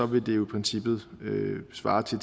vil det jo i princippet svare til